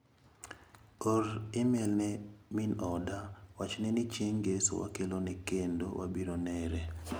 Or imel ne min oda wachne ni chieng' ng'eso wakelone kendo wabiro nere.